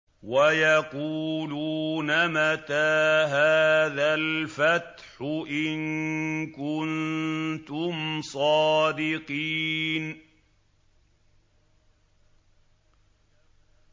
وَيَقُولُونَ مَتَىٰ هَٰذَا الْفَتْحُ إِن كُنتُمْ صَادِقِينَ